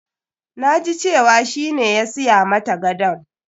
Na ji cewa shi ne ya siya mata gadon.